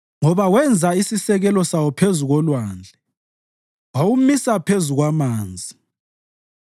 ngoba wenza isisekelo sawo phezu kolwandle wawumisa phezu kwamanzi.